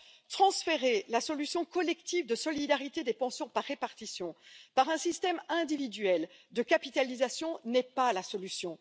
Alors, transférer la solution collective de solidarité des pensions par répartition à un système individuel de capitalisation n'est pas la solution.